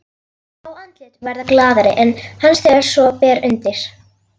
Fá andlit verða glaðari en hans þegar svo ber undir.